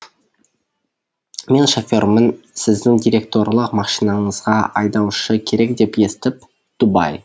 мен шофермін сіздің директорлық машинаңызға айдаушы керек деп естіп дубай